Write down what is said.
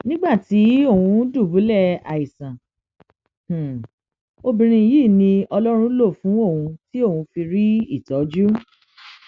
nígbà tí òun dùbúlẹ àìsàn obìnrin yìí ni ọlọrun lò fún òun tí òun fi rí ìtọjú